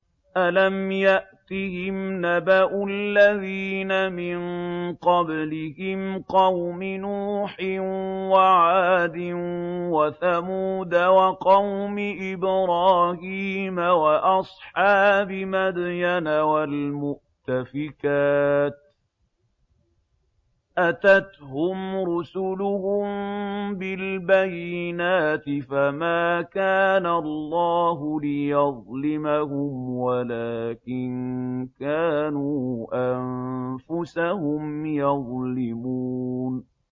أَلَمْ يَأْتِهِمْ نَبَأُ الَّذِينَ مِن قَبْلِهِمْ قَوْمِ نُوحٍ وَعَادٍ وَثَمُودَ وَقَوْمِ إِبْرَاهِيمَ وَأَصْحَابِ مَدْيَنَ وَالْمُؤْتَفِكَاتِ ۚ أَتَتْهُمْ رُسُلُهُم بِالْبَيِّنَاتِ ۖ فَمَا كَانَ اللَّهُ لِيَظْلِمَهُمْ وَلَٰكِن كَانُوا أَنفُسَهُمْ يَظْلِمُونَ